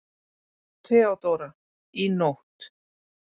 THEODÓRA: Í nótt.